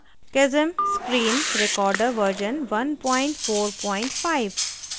kazam screen recorder version 145